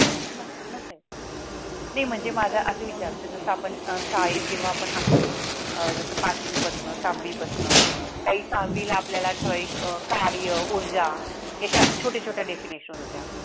नाही म्हणजे माझा असे विचारते जसं आपण अह शाळेत जेव्हा आपण असतो जसं अह पाचवीपासून सहावी पसण काही सहावीला आपल्याला अह ठराविक कार्य ऊर्जा छोटे छोट definition होत्या